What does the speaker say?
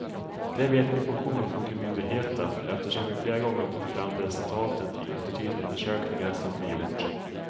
Det vet vi på kronofogdemyndigheten, eftersom vi flera gånger har fått fram det resultatet i attitydundersökningar som vi gjort.